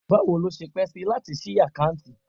Bawo lo se pe si lati si akanti?